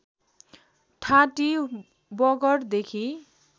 ठाँटी वगर देखि